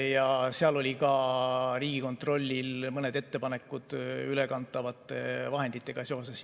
Ja seal olid Riigikontrollil mõned ettepanekud ülekantavate vahenditega seoses.